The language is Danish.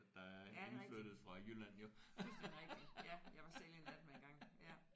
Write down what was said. Ja det er rigtigt. Fuldstændigt rigtigt. Ja jeg var selv en af dem engang ja